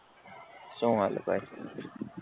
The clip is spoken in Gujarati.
શું હાલે ભાઈ